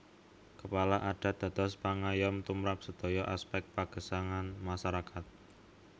Kepala Adat dados pangayom tumrap sedaya aspek pagesangan masyarakat